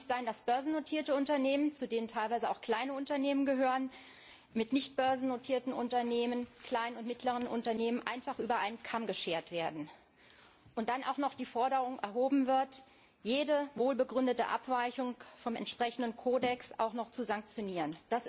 Es darf nicht sein, dass börsennotierte Unternehmen, zu denen teilweise auch kleine Unternehmen gehören, mit nicht börsennotierten Unternehmen, kleinen und mittleren Unternehmen, einfach über einen Kamm geschoren werden und dann auch noch die Forderung erhoben wird, jede wohlbegründete Abweichung vom entsprechenden Kodex zu sanktionieren.